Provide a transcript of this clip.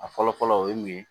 A fɔlɔ fɔlɔ o ye mun ye